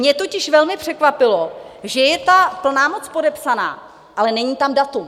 Mě totiž velmi překvapuje, že je ta plná moc podepsaná, ale není tam datum.